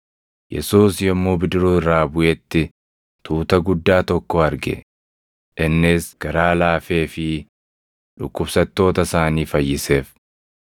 Yesuus yommuu bidiruu irraa buʼetti tuuta guddaa tokko arge; innis garaa laafeefii dhukkubsattoota isaanii fayyiseef.